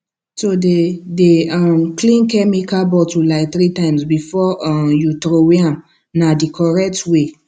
to dey dey um clean chemical bottle like three times before um you throway am na the correct way